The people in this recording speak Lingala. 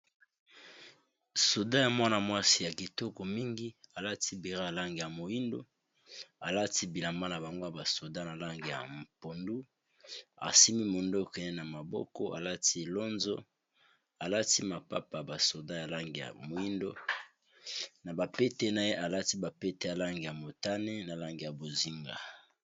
soda ya mwana-mwasi ya kitoko mingi alati bera alange ya moindo alati bilamba na bangwo ya basoda na lange ya mpondu arsimi mondo okeye na maboko alati lonzo alati mapapa basoda ya lange ya moindo na bapete na ye alati bapete ya lange ya motane na lange ya bozinga